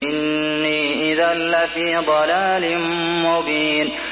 إِنِّي إِذًا لَّفِي ضَلَالٍ مُّبِينٍ